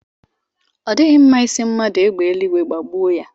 Ọ dịghị mma ị sị mmadụ égbè eluigwe gbagbue ya.